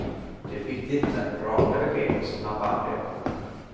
Det är viktigt med raka besked och snabba reaktioner.